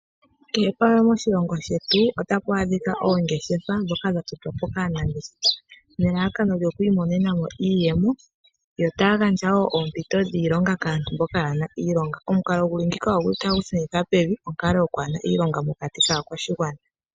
Kehe pamwe moshilongo shetu otapu adhika oongeshefa ndhoka dha dhikwa po kaanangeshefa nelalakano lyo kwiimonena mo iiyemo yo taya gandja wo oompito dhiilonga kaantu mboka kaayena iilonga. Omukalo nguka otagu shunitha pevi onkalo yokwaahena iilonga moshigwana.